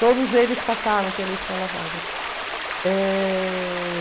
Todos eles passaram pela Escola Waldorf. Eh...